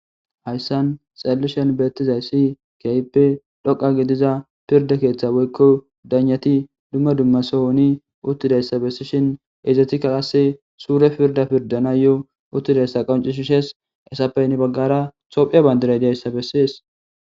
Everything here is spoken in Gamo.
Haysan xelishen betizaysi kehipe dhoqa gidiza pirde ketha woyko daygnati duma duma sohoni utidaysa besishin izetika qase surepe pirda pirdanayo utidaysa qonc'isishes izappe hini bagara tophiya bandiray diyaysa beses.